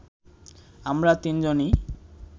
আমরা তিনজনই